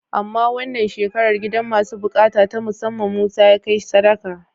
Amma wannan shekarar gidan masu buƙata ta musamman Musa ya kai sadaka.